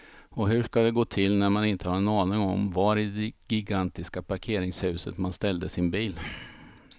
Och hur ska det gå till när man inte har en aning om var i det gigantiska parkeringshuset man ställde sin bil.